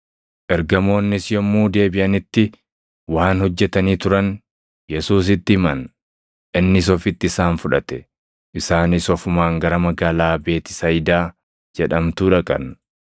Ergamoonnis yommuu deebiʼanitti waan hojjetanii turan Yesuusitti himan. Innis ofitti isaan fudhate; isaanis ofumaan gara magaalaa Beetisayidaa jedhamtuu dhaqan;